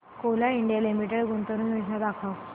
Coal India limited गुंतवणूक योजना दाखव